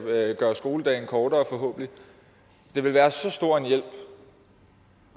gøre skoledagen kortere det ville være så stor en hjælp